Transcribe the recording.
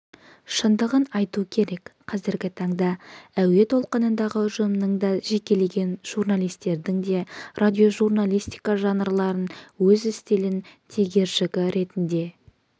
шындығын айту керек қазіргі таңда әуе толқынындағы ұжымның да жекелеген журналистердің де радиожурналистика жанрларын өз стилінің тегершігі ретінде